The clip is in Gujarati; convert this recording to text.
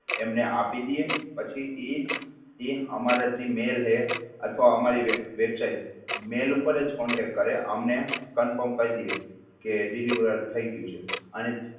એમને આપી દયે પછી ઈ અમારા જી mail હે, અથવા અમારી websitemail ઉપર જ contact કરે અમને confirm કરીદે કે deliver થઈ ગયું છે.